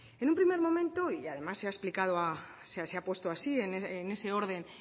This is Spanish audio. en un primer momento y además se ha puesto así en ese orden